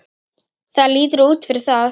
Það lítur út fyrir það